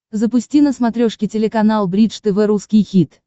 запусти на смотрешке телеканал бридж тв русский хит